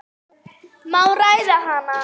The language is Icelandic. Má ræða hana?